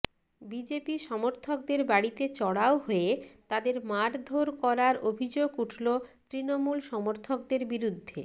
BJP সমর্থকদের বাড়িতে চড়াও হয়ে তাঁদের মারধর করার অভিযোগ উঠল তৃণমূল সমর্থকদের বিরুদ্ধে